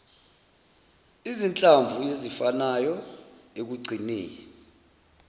izinhlamvu ezifanayo ekugcineni